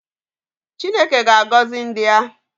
Chineke ga-agọzi ndị ya